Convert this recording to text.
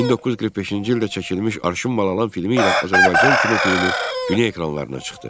1945-ci ildə çəkilmiş Arşın Mal Alan filmi ilə Azərbaycan kino filmi dünya ekranlarına çıxdı.